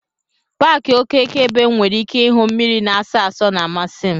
Paaki okeke ebe M nwere ike ahụ mmiri na-asọ asọ na-amasị m.